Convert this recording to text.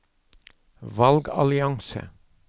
valgallianse